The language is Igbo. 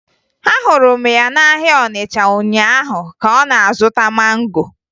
Ahụrụ m ya n'ahịa Ọnịcha ụnyaahụ ka ọ na-azụta mango